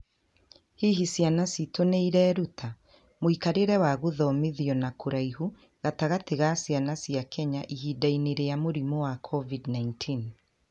Hihi Ciana Ciitũ nĩ Ireruta? Mũikarĩre wa Gũthomithio na Kũraihu Gatagatĩ ka Ciana cia Kenya Ihinda-inĩ rĩa Mũrimũ wa COVID-19